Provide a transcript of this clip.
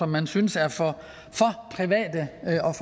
man synes er for private